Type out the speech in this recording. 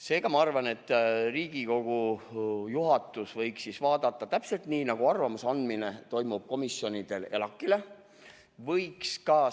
Seega ma arvan, et Riigikogu juhatus võiks asja arutada –täpselt nii, nagu toimub komisjonide arvamuse andmine ELAK-ile.